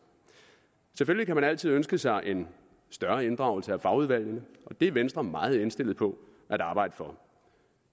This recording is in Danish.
selvfølgelig kan man altid ønske sig en større inddragelse af fagudvalgene og det er venstre meget indstillet på at arbejde for